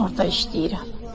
Mən orda işləyirəm.